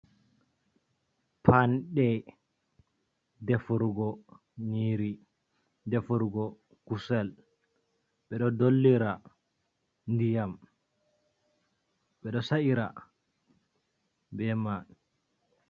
Panɗe defurgo nyiri, defurugo kusel, ɓeɗo dollira ndiyam, ɓeɗo sa'ira be mai.